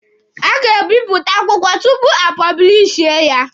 A ga-ebipụta akwụkwọ tupu a pọblishie ya.